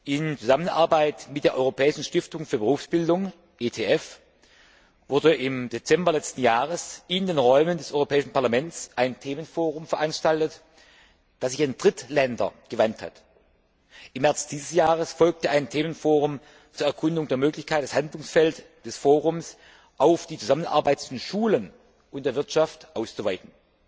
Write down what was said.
In Zusammenarbeit mit der Europäischen Stiftung für Berufsbildung wurde im Dezember 2009 in den Räumen des Europäischen Parlaments ein Themenforum veranstaltet, das sich an Drittländer wandte. Im März 2010 folgte ein Themenforum zur Erkundung der Möglichkeit, das Handlungsfeld des Forums auf die Zusammenarbeit zwischen Schulen und Wirtschaft auszuweiten.